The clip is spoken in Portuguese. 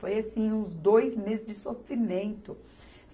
Foi, assim, uns dois meses de sofrimento.